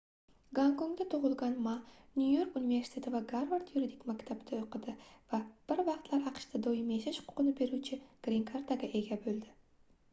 gonkongda tug'ilgan ma nyu-york universiteti va garvard yuridik maktabida o'qidi va bir vaqtlar aqshda doimiy yashash huquqini beruvchi grin karta"ga ega bo'ldi